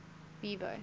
vivo